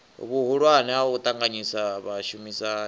vhuhulwane ha u ṱanganyisa vhashumisani